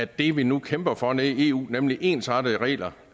det vi nu kæmper for nede i eu nemlig ensartede regler